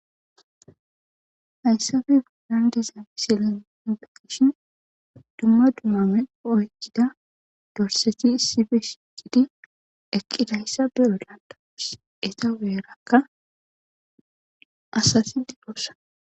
Hayssafe godan dizamisilan hinbeqishin dumma dumame oykkida dorseti sibe shiiqidi eqqidayssa beolantawus eta weerakka asati digoossa.